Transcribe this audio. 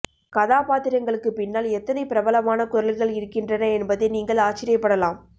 கதாபாத்திரங்களுக்கு பின்னால் எத்தனை பிரபலமான குரல்கள் இருக்கின்றன என்பதை நீங்கள் ஆச்சரியப்படலாம்